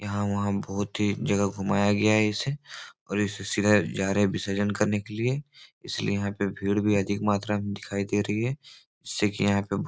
यहाँ वहाँ बहुत ही जगह घुमाया गया है इसे और इसे सीधे जा रहे है विसर्जन करने के लिए इसलिए यहाँ पे भीड़ भी अधिक मात्रा में दिखाई दे रही है जिससे की यहाँ पे ब --